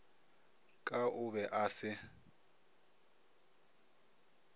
ka o be a se